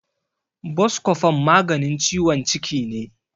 Boskofon maganin ciwon ciki ne.